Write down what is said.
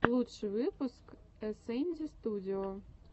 лучший выпуск эсэнди студио